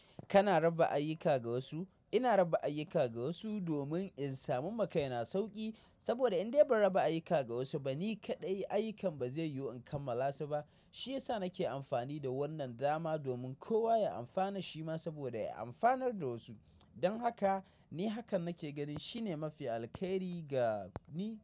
Kana raba ayyuka ga wasu. Ina raba ayyuka ga wasu domin in samu ma kai na sauƙi. Saboda in dai ban raba ayyuka ga wasu ba, ni kaɗai ayyukan ba zai yiwu in kammala su ba. Shiyasa nake amfani da wannan dama domin kowa ya amfana shi ma saboda ya amfanar da wasu. Don haka ni hakan nake ganin shine mafi alheri ga ni.